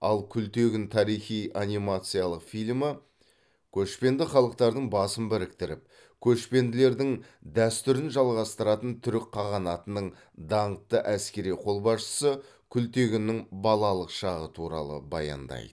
ал күлтегін тарихи анимациялық фильмі көшпенді халықтардың басын біріктіріп көшпенділердің дәстүрін жалғастырған түрік қағанатының даңқты әскери қолбасшысы күлтегіннің балалық шағы туралы баяндайды